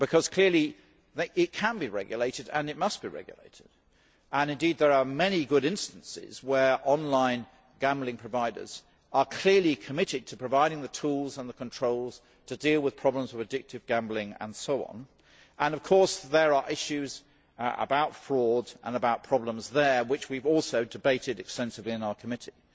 Clearly, it can be regulated and it must be regulated and, indeed, there are many good instances where online gambling providers are clearly committed to providing the tools and the controls to deal with problems of addictive gambling and so on and, of course, there are issues about fraud and about problems there which we have also debated extensively in our committee.